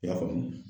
I y'a faamu